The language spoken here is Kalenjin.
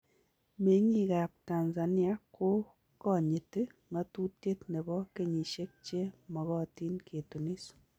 Meng'iik ab Tanzania ko ganyiiti ng'atutiet nebo kenyishek che magatiin ketunis